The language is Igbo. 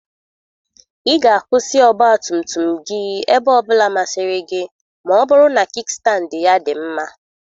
Ị ga akwụsị ọgba tum tum gị ebe ọ bụla masịrị gị ma ọ bụrụ na kikstandị ya dị mma.